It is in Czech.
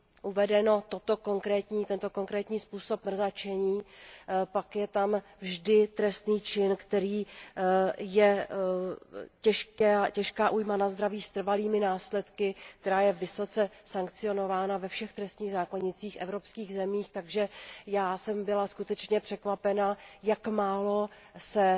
uveden tento konkrétní způsob mrzačení, pak je tam vždy trestní čin, kterým je těžká újma na zdraví s trvalými následky, která je vysoce sankcionována ve všech trestních zákonících evropských zemích, takže já jsem byla skutečně překvapena, jak málo se